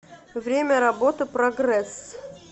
время работы прогресс